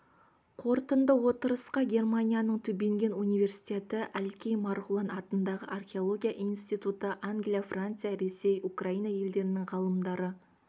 қорытынды отырысқа германияның тюбинген университеті әлкей марғұлан атындағы археология институты англия франция ресей украина елдерінің ғалымдары